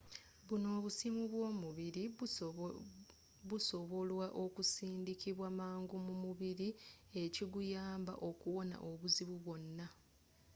bunno obusimu bwomubiri busobolwa okusindikibwa mangu mumubiri ekiguyamba okuwona obuzibu bwonna